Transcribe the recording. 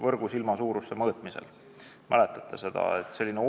Kas te mäletate seda?